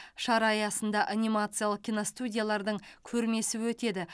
шара аясында анимациялық киностудиялардың көрмесі өтеді